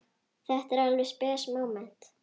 Þetta var alveg spes móment.